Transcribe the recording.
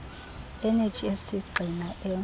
eneji esisigxina e